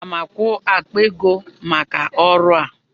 Aga m akwụ akpa ego maka ọrụ ahụ.